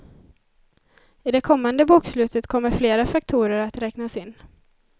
I det kommande bokslutet kommer flera faktorer att räknas in.